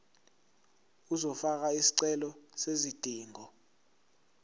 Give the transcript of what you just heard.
uzofaka isicelo sezidingo